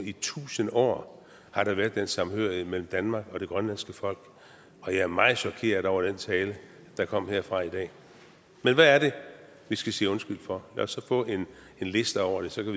i tusind år har der været den samhørighed mellem danmark og det grønlandske folk og jeg er meget chokeret over den tale der kom herfra i dag men hvad er det vi skal sige undskyld for lad os så få en liste over det så kan